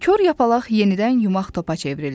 Kor yapalaq yenidən yumaq topa çevrildi.